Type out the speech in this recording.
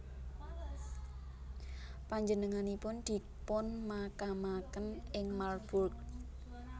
Panjenenganipun dipunmakamaken ing Marburg